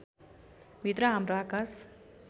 भित्र हाम्रो आकाश